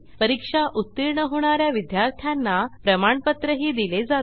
परीक्षा उत्तीर्ण होणा या विद्यार्थ्यांना प्रमाणपत्रही दिले जाते